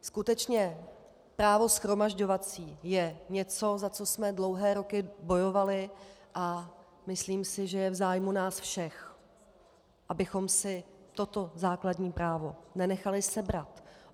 Skutečně právo shromažďovací je něco, za co jsme dlouhé roky bojovali, a myslím si, že je v zájmu nás všech, abychom si toto základní právo nenechali sebrat.